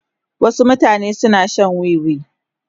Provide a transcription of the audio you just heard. Wasu mutane suna shan wiwi.